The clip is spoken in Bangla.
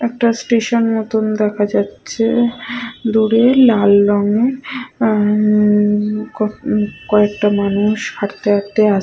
একটা স্টেশন মতন দেখা যাচ্ছে। দূরে লাল রংয়ের উ উ ক কয়েকটা মানুষ হাটতে হাটতে আস--